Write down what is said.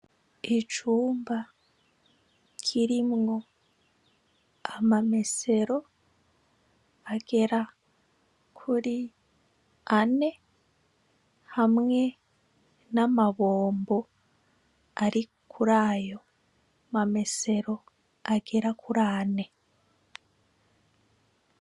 Icumba kirimwo amamesero agera kuri ane hamwe n' amabombo ari kuri ayo mamesero agera kuri ane.